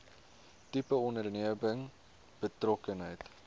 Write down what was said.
tipe onderneming betrokkenheid